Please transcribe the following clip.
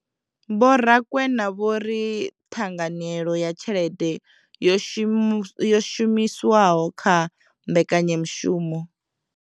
Vho Rakwena vho ri ṱhanganyelo ya tshelede yo shumiswaho kha mbekanyamushumo.